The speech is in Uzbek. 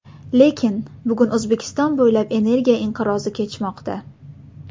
Lekin.. Bugun O‘zbekiston bo‘ylab energiya inqirozi kechmoqda.